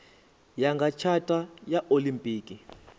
ya nga tshata ya olimpiki